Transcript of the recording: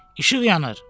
İşıq yanır.